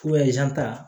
ta